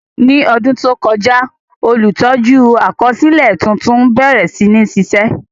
Ní ọdún tó kọjá, olùtọ́jú àkọsílẹ̀ tuntun bẹ̀rẹ̀ sí ní ṣiṣẹ́.